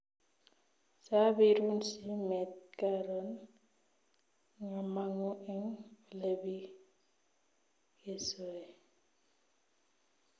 Sabiruun simet karoon ngamangu eng olepikesoe